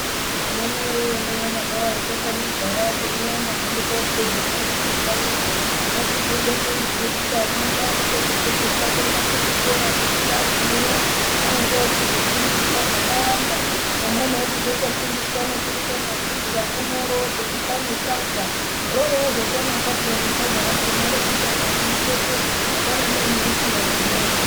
Anamai woye nana baba woye takanyagara teinyaenda hedu kokuza doro mumakanyi umo ngatikuze teiziye kuti ana edu anode kufundiswa kuenda kuzvikora ngekuti agumeyo anenge ochizofundiswa zvakawanda amweni ochizotofundiswa nekuruka majuzi amweni orozobika nesadza rorozotonaka paani sadza rakhona zvekuti akaribekepi apana neanorisiya mundiromo.